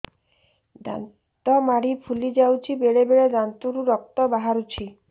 ଦାନ୍ତ ମାଢ଼ି ଫୁଲି ଯାଉଛି ବେଳେବେଳେ ଦାନ୍ତରୁ ରକ୍ତ ବାହାରୁଛି